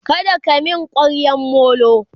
kada ka min kwaryan Molo!